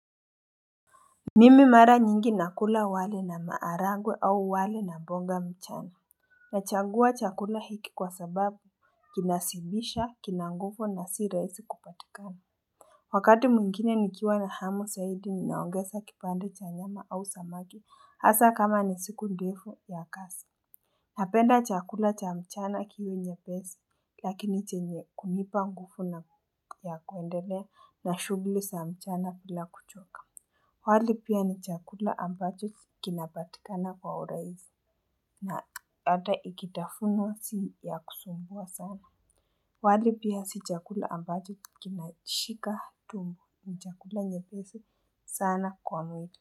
Mimi mara nyingi nakula wale na maarangwe au wale na mbonga mchana. Nachangua chakula hiki kwa sababu kinasibisha kinangufu na si reisi kupatikana. Wakati mungine nikiwa na hamu sayidi ni naongesa kipande cha nyama au samaki hasa kama ni siku ndefu ya kasi. Napenda chakula cha mchana kiyo nye pesi lakini chenye kumipa ngufu ya kuendele na shugli sa mchana bila kuchoka. Wali pia ni chakula ambacho kinabatikana kwa oraisi na ata ikitafuna siya kusumbuwa sana. Wali pia si chakula ambacho kinashika tumbo ni chakula nyebezi sana kwa mwili.